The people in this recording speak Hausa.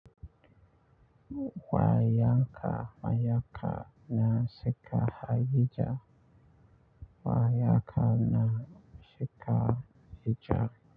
Wa yanka mayaka na seka haya ja. Wa yaka na shika hija.